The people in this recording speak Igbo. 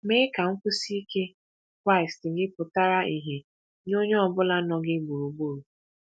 Mee ka nkwụsi ike Kraịst gị pụtara ìhè nye onye ọ bụla nọ gị gburugburu.